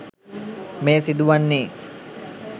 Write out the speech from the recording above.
මෙය සිදුවන්නේ